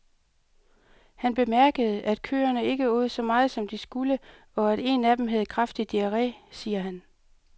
Han bemærkede, at køerne ikke åd så meget som de skulle, og at en af dem havde kraftig diarre, siger han.